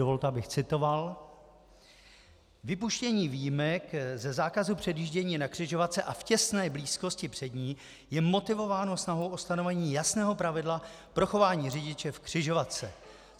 Dovolte, abych citoval: Vypuštění výjimek ze zákazu předjíždění na křižovatce a v těsné blízkosti před ní je motivováno snahou ustanovení jasného pravidla pro chování řidiče v křižovatce.